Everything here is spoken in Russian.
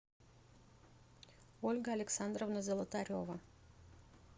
ольга александровна золотарева